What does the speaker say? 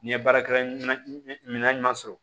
N'i ye baarakɛla mina ɲuman sɔrɔ